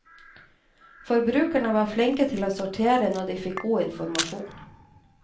Forbrukerne var flinke til å sortere når de fikk god informasjon.